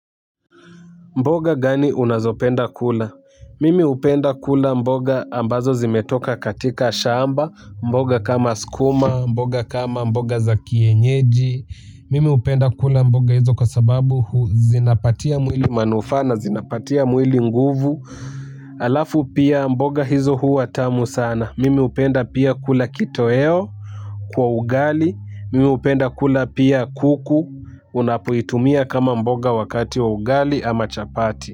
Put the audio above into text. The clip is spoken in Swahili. Mboga gani unazopenda kula mimi napenda kula mboga ambazo zimetoka katika shamba mboga kama skuma mboga kama mboga za kienyeji mimi hupenda kula mboga hizo kwa sababu huu zinapatia mwili manufaa na zinapatia mwili nguvu. Halafu pia mboga hizo huwa tamu sana mimi hupenda pia kula kitoweo. Kwa ugali, mimi hupenda kula pia kuku unapoitumia kama mboga wakati wa ugali ama chapati.